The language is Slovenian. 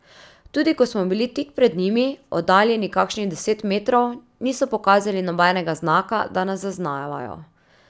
Tudi ko smo bili tik pred njimi, oddaljeni kakšnih deset metrov, niso pokazali nobenega znaka, da nas zaznavajo.